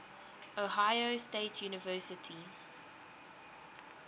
ohio state university